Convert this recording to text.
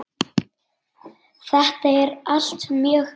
Þetta er allt mjög gaman.